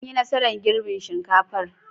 An yi nasarar girbin shinkafar.